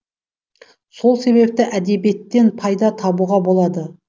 сол себепті әдебиеттен пайда табуға болады